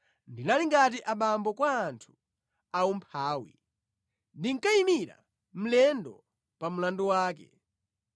Ndinali ngati abambo kwa anthu aumphawi; ndinkayimira mlendo pa mlandu wake.